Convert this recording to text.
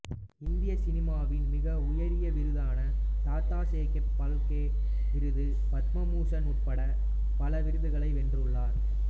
இந்திய சினிமாவின் மிக உயரிய விருதான தாதாசாகேப் பால்கே விருது பத்மபூஷண் உட்பட பல விருதுகளை வென்றுள்ளார்